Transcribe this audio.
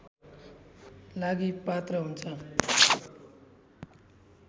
लागि पात्र हुन्छ